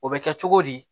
O bɛ kɛ cogo di